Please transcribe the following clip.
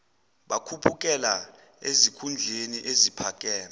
bakhuphukela ezikhundleni eziphakeme